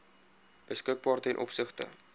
beskikbaar ten opsigte